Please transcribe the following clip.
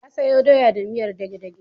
Ya sayo doya da miyar dage-dage.